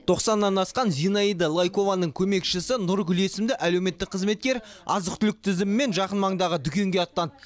тоқсаннан асқан зинаида лайкованың көмекшісі нұргүл есімді әлеуметтік қызметкер азық түлік тізімімен жақын маңдағы дүкенге аттанды